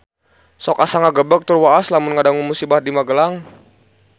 Sok asa ngagebeg tur waas lamun ngadangu musibah di Magelang